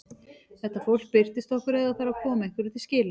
Þetta fólk birtist okkur ef það þarf að koma einhverju til skila.